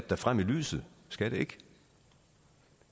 da frem i lyset skal det ikke